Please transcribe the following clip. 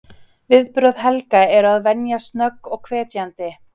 Viðbrögð Helga eru að venju snögg og hvetjandi.